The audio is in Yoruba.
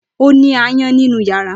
Ó ni áyán nínú yàrá.